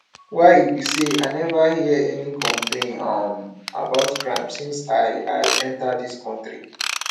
why e be say i never hear any complaint um about crime since i i enter dis country